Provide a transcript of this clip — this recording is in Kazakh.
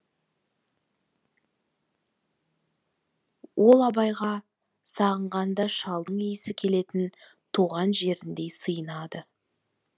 ол абайға сағынғанда шалдың иісі келетін туған жеріндей сыйынады